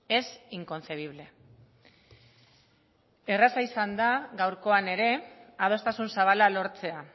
es inconcebible erraza izan da gaurkoan ere adostasun zabala lortzea